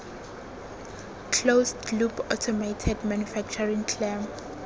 closed loop automated manufacturing clam